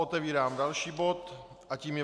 Otevírám další bod a tím je